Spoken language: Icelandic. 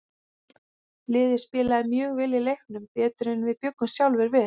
Liðið spilaði mjög vel í leiknum, betur en við bjuggumst sjálfir við.